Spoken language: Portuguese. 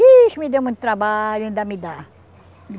Ixe, me deu muito trabalho, ainda me dá.